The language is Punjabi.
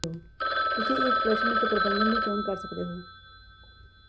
ਤੁਸੀਂ ਇੱਕ ਪ੍ਰਸ਼ਨ ਅਤੇ ਪ੍ਰਬੰਧਕ ਦੀ ਚੋਣ ਕਰ ਸਕਦੇ ਹੋ